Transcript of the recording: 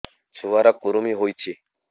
ଛୁଆ ର କୁରୁମି ହୋଇଛି